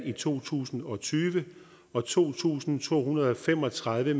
i to tusind og tyve og to tusind to hundrede og fem og tredive